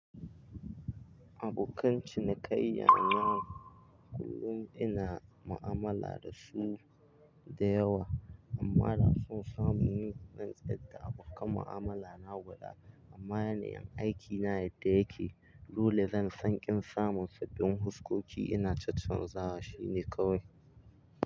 Abokan cinikayya na kullum ina mu'amala da su da yawa amma haratsun samun ni na tsadd abokan mu'amala na guda. Amma yanayin aiki na yadda yake, dole zan san kin samun sabbin huskoki ina tattunza shi ne kawai.